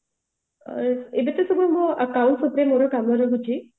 ଏଇଟା ତ ସବୁ ମୋର accounts ଉପରେ ମୋର କାମ ରହୁଛି